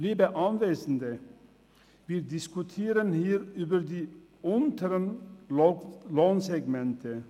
Liebe Anwesende, wir diskutieren hier über die unteren Lohnsegmente.